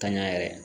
Tanya yɛrɛ